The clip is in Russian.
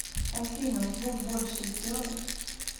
афина звук больше сделай